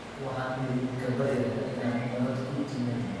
Waxaan idiinka baryayaa in aad nabad ku timaadid